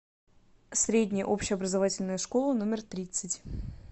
средняя общеобразовательная школа номер тридцать